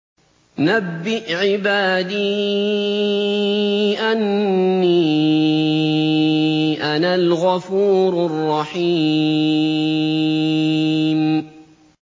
۞ نَبِّئْ عِبَادِي أَنِّي أَنَا الْغَفُورُ الرَّحِيمُ